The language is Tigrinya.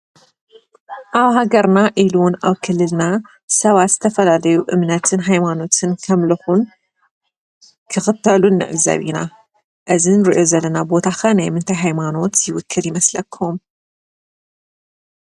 ኣብ ሃገርና ኢሉ እውን ኣብ ክልልና ሰባት ዝተፈላለየ እምነትን ሃይማኖትን ከምልኹን ክኽተሉን ንዕዘብ ኢና። እዚ ንሪኦ ዘለና ቦታ ኸ ናይ ምንታይ ሃይማኖት ይውክል ይመስለኩም?